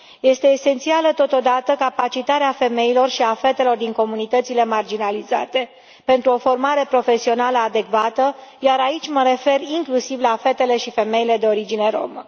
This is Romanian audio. Este esențială totodată capacitarea femeilor și a fetelor din comunitățile marginalizate pentru o formare profesională adecvată, iar aici mă refer inclusiv la fetele și femeile de origine romă.